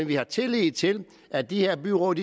vi har tillid til at de her byråd